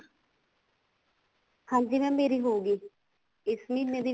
ਹਾਂਜੀ mam ਮੇਰੀ ਹੋਗੀ ਇਸ ਮਹੀਨੇ